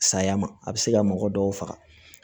Saya ma a bɛ se ka mɔgɔ dɔw faga